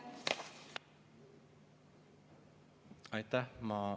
Aitäh!